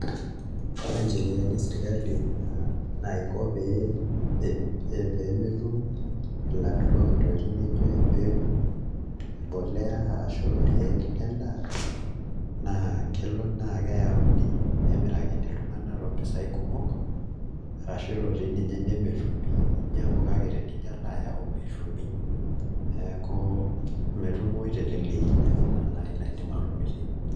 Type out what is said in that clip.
Ore ncheriani esirkali naiko pee etum ilaturok ntokitin nijio embegu, mbolea arashu irkeek lendaa naa kelo naa keyauni nemirakini iltung'anak toompisaai kumok arashu ele toi ninye nemetumi, ninyiang'u kake tenijo alo ayau metumi neeku metumoyu teleleki neeku ina naai naidim atomitiki.